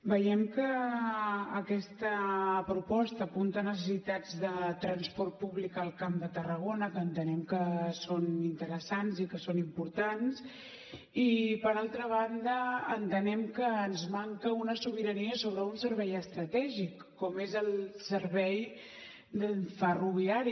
veiem que aquesta proposta apunta necessitats de transport públic al camp de tarragona que entenem que són interessants i que són importants i per altra banda entenem que ens manca una sobirania sobre un servei estratègic com és el servei ferroviari